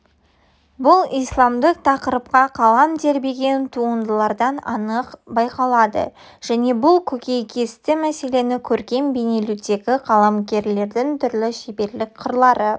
бұл исламдық тақырыпқа қалам тербеген туындылардан анық байқалады және бұл көкейкесті мәселені көркем бейнелеудегі қаламгерлердің түрлі шеберлік қырлары